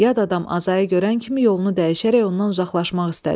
Yad adam Azayı görən kimi yolunu dəyişərək ondan uzaqlaşmaq istədi.